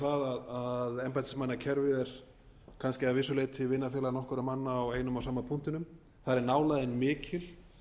það að embættismannakerfið er kannski að vissu leyti vinafélag nokkurra manna á einum og sama punktinum þar er nálægðin mikil